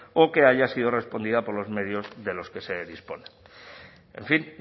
o que haya sido respondida por los medios de los que se disponen en fin